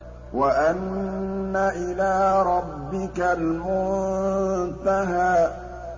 وَأَنَّ إِلَىٰ رَبِّكَ الْمُنتَهَىٰ